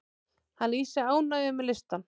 Hann lýsir ánægju með listann.